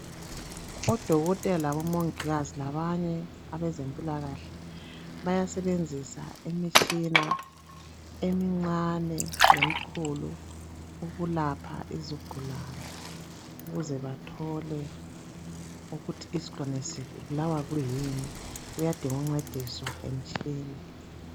Odokotela labomongikazi labanye abezempilakahle bayasebenzisa imitshina emincane lemikhulu ukulapha izigulane ukuze bathole ukuthi isigulane sibulawa kuyini kuyadingwa ukuncediswa yimitshina.